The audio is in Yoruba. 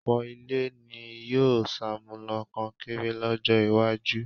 ọ̀pọ̀ ilé ni yóò ṣàmúlò kọnkéré lọ́jọ́-iwájú.